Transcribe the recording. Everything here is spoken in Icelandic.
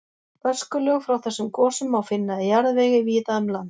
Öskulög frá þessum gosum má finna í jarðvegi víða um land.